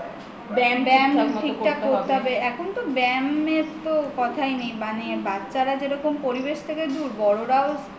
ব্যায়াম ঠিকঠাক করতে হবে এখন তো ব্যয়াম এর তো কথাই নেই মানে বাচ্ছারা যেরকম পরিবেশ থেকে দূর বড়রাও